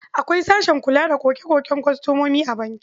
Akwai sashen kula da koke-koken kwastomomi a banki.